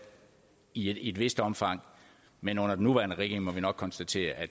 i et vist omfang men under den nuværende regering må vi nok konstatere at